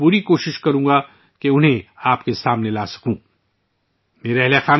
میں بھی انہیں آپ تک پہنچانے کی پوری کوشش کروں گا